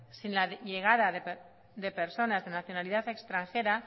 sin la llegada de personas de nacionalidad extranjera